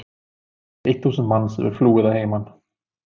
Eitt þúsund manns hefur flúið að heiman.